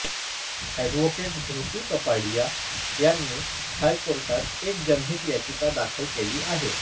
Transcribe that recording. advocate Dhriti Kapadia यांनी हायकोर्टात एक जनहित याचिका दाखल केली आहे